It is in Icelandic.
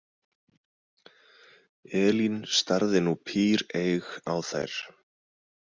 Elín starði nú píreyg á þær.